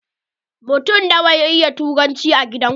Mutun na wa ya iya turanci a gidan ku?